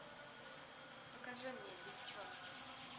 покажи мне девчонки